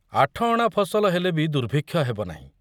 ଆଠଅଣା ଫସଲ ହେଲେ ବି ଦୁର୍ଭିକ୍ଷ ହେବ ନାହିଁ।